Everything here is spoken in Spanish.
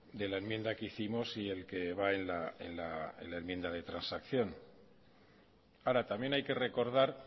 de la enmienda que hicimos y el que va en la enmienda de transacción ahora también hay que recordar